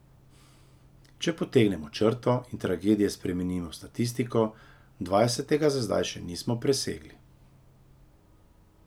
Če potegnemo črto in tragedije spremenimo v statistiko, dvajsetega za zdaj še nismo presegli.